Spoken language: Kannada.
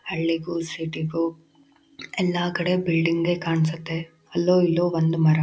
ಹಳ್ಳಿಗೂಸಿಟಿಗೂ ಎಲ್ಲಾ ಕಡೆ ಬಿಲ್ಡಿಂಗೆ ಕಾಣ್ಸತ್ತೆ ಅಲ್ಲೋ ಇಲ್ಲೋ ಒಂದ್ ಮರ .